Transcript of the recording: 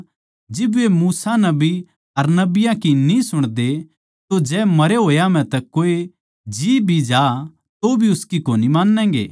साहूकार बोल्या न्ही पिता अब्राहम पर जै कोए मरे होया म्ह तै उनकै धोरै जावै तो वे पाप करणा छोड़ देंगे